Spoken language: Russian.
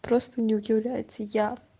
просто не удивляется я